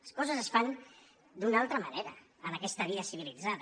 les coses es fan d’una altra manera en aquesta vida civilitzada